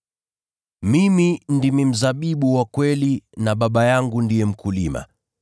“Mimi ndimi mzabibu wa kweli na Baba yangu ndiye mkulima.